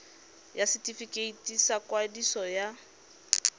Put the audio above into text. ya setefikeiti sa ikwadiso ya